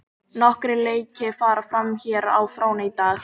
Nokkrir leiki fara fram hér á fróni í dag.